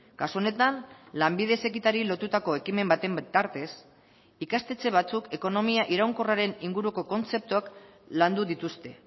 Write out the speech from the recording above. kasu honetan lanbide heziketari lotutako ekimen baten bitartez ikastetxe batzuk ekonomia iraunkorraren inguruko kontzeptuak landu dituzte